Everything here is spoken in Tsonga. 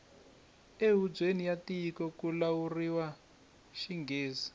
e hubyeni ya tiko kuvulavuriwa xingghezi